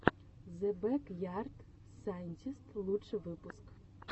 зе бэк ярд сайнтист лучший выпуск